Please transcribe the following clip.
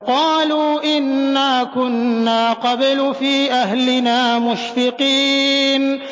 قَالُوا إِنَّا كُنَّا قَبْلُ فِي أَهْلِنَا مُشْفِقِينَ